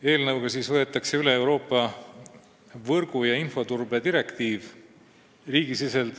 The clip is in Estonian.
Eelnõuga võetakse üle Euroopa võrgu- ja infoturbe direktiiv.